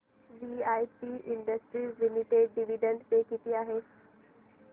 VIP industries limited dividend पे किती आहे